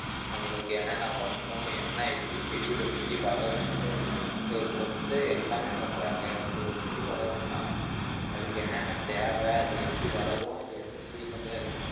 நம்மளுக்கு என்னென்ன பண்ணணும் என்ன எப்படி செடி ஒரு செடி வளரும்றது கொ~ கொடுத்து எல்லாமே பண்றாங்க இப்ப ஒரு செடி வளருதுன்னா அதுக்கு என்னென்ன தேவை அது எப்படி வளரும் அது எந்த season ல